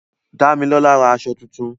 Dámilọ́lá ra aṣọ tuntun